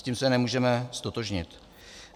S tím se nemůžeme ztotožnit.